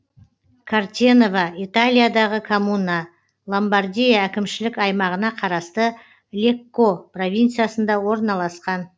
кортенова италиядағы коммуна ломбардия әкімшілік аймағына қарасты лекко провинциясында орналасқан